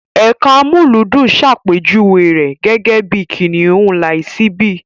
Ẹka amúlùúdùn ṣàpèjúwe rẹ̀ gẹ́gẹ́ bí Kìnìún Lísàbí.